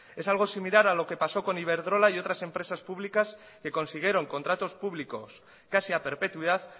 es algo similar a lo que pasó con iberdrola y otras empresas públicas que consiguieron contratos públicos casi a perpetuidad